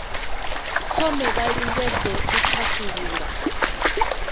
thome vha lingedze u thasulula